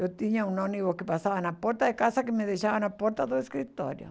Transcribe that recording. Eu tinha um ônibus que passava na porta de casa que me deixava na porta do escritório.